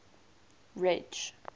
ridge